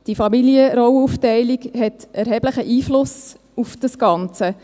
Die Familienrollenaufteilung hat einen erheblichen Einfluss auf das Ganze.